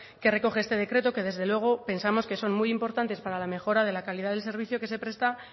que recoge este decreto que desde luego pensamos que son muy importantes para la mejora de la calidad del servicio que se presta